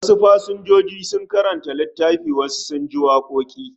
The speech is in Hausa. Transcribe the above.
Wa'en su pasenjoji sun karanta litaffi, wasu kuma sun ji waƙoki